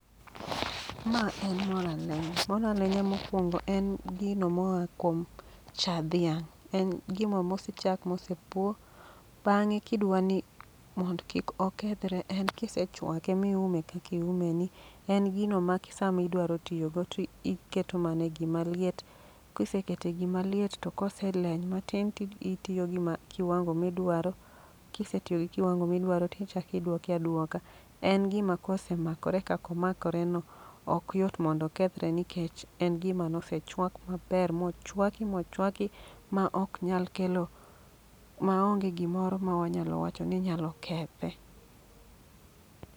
Ma en mor alenya, mor alenya mokwongo en gino moa kuom cha dhiang'. En gino mose chak mose puo, bang'e kidwani mondo kik okethre en kisechwake miume kakiume ni. En gino ma sami dwaro tiyo go to iketo mane gima liet, kisekete gimaliet to koseleny matin ti itiyo gi ma kiwango midwaro. Kisetiyo gi kiwango midwaro tichakidwoke aduoka. En gima kose makore kako makore no, ok yot mondo okethre. Nikech en gima nosechwak maber, mochwaki mochwaki ma ok nyal kelo, ma onge gimoro ma wanyalo wacho ni nyalo kethe.